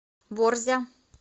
борзя